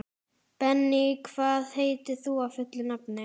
Benný, hvað heitir þú fullu nafni?